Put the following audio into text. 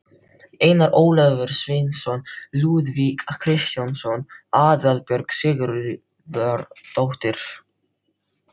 Einar Ólafur Sveinsson, Lúðvík Kristjánsson, Aðalbjörg Sigurðardóttir